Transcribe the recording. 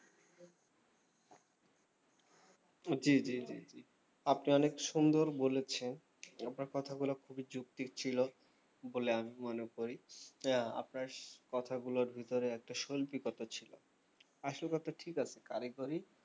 জি জি জি জি আপনি অনেক সুন্দর বলেছেন আপনার কথা গুলো খুবই যুক্তির ছিল বলে আমি মনে করি যে আপনার কথাগুলোর ভেতরে একটা সল্পীকতা ছিল আসল কথা ঠিক আছে কারিগরি